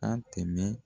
An tɛmɛ